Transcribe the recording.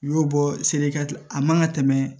I y'o bɔ a man ka tɛmɛ